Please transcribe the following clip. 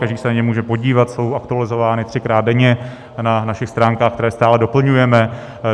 Každý se na ně může podívat, jsou aktualizována třikrát denně na našich stránkách, které stále doplňujeme.